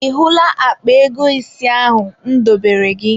Ị hụla akpa ego isi ahụ m dobere gị?